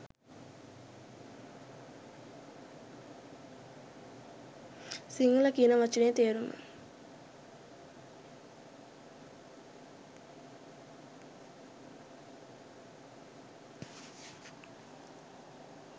සිංහල කියන වචනයෙ තේරුම